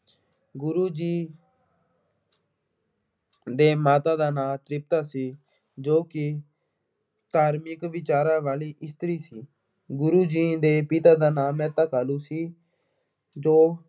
ਗੁਰੂ ਜੀ ਦੇ ਮਾਤਾ ਦਾ ਨਾਮ ਤ੍ਰਿਪਤਾ ਸੀ ਜੋ ਕਿ ਧਾਰਮਿਕ ਵਿਚਾਰਾਂ ਵਾਲੀ ਇਸਤਰੀ ਸੀ। ਗੁਰੂ ਜੀ ਦੇ ਪਿਤਾ ਦਾ ਨਾਮ ਮਹਿਤਾ ਕਾਲੂ ਸੀ। ਜੋ